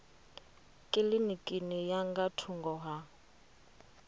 kilinikini ya nga thungo ha